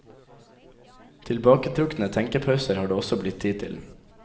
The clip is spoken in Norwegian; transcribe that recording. Tilbaketrukne tenkepauser har det også blitt tid til.